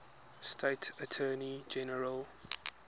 state attorney general